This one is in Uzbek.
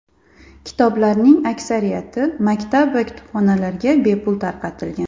Kitoblarning aksariyati maktab va kutubxonalarga bepul tarqatilgan.